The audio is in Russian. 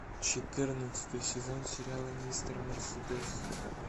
четырнадцатый сезон сериала мистер мерседес